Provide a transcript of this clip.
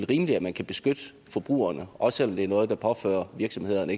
rimeligt at man kan beskytte forbrugerne også selv om det er noget der påfører virksomhederne